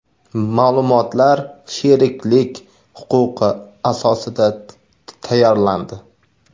Ma’lumotlar sheriklik huquqi asosida tayyorlandi.